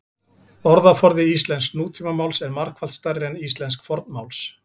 orðaforði íslensks nútímamáls er margfalt stærri en íslensks fornmáls